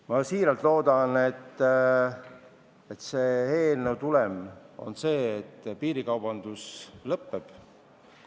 Ma väga loodan, et eelnõu tulem on see, et piirikaubandus lõpeb.